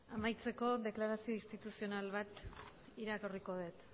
amaitzeko deklarazio instituzional bat irakurriko dut